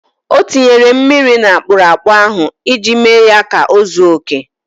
O tinyere mmiri n' akpụrụakpụ ahụ iji mee ya ka o zuo oke.